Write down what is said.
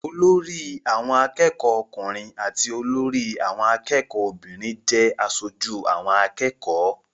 Olórí àwọn akẹ́kọ̀ọ́ ọkùnrin àti olórí àwọn akẹ́kọ̀ọ́ obìnrin jẹ́ aṣojú àwọn akẹ́kọ̀ọ́.